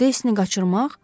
Deysini qaçırmaq?